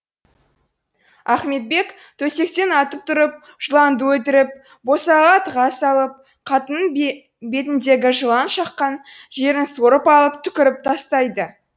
ахметбек төсектен атып тұрып жыланды өлтіріп босағаға тыға салып қатынның бетіндегі жылан шаққан жерін сорып алып түкіріп тастайды